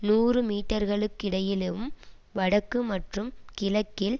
நூறு மீட்டர்களுக்கிடையிலும் வடக்கு மற்றும் கிழக்கில்